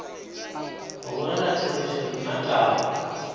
go bolela therešo nna taba